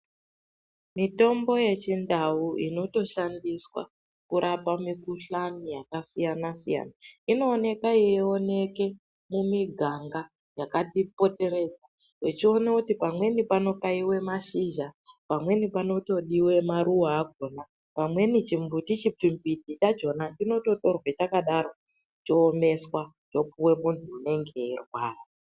Mitombo yechindau inotoshandiswa kurapa mikuhlani yakasiyana-siyana, inooneka yeioneke mumiganga yakati poteredza. Echione kuti pamweni panokaive mashizha. Pamweni panotodive maruva akona, pamweni chimbiti chimbidzi chachona chinototorwe chakadaro choomeswa zvopuve muntu unenge eirwara.